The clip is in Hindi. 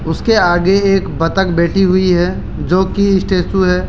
उसके आगे एक बतख बैठी हुई है जोकि स्टेचू है।